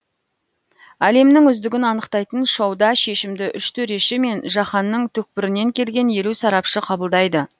әлемнің үздігін анықтайтын шоуда шешімді үш төреші мен жаһанның түкпірінен келген елу сарапшы қабылдайды